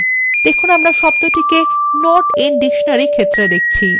তাহলে আমরা শব্দটি not in dictionary ক্ষেত্রে দেখছি